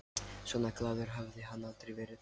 Svona glaður hafði hann aldrei verið.